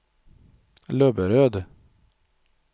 Löberöd